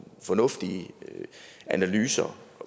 fornuftige analyser